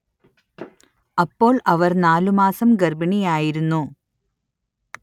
അപ്പോൾ അവർ നാലു മാസം ഗർഭിണിയായിരുന്നു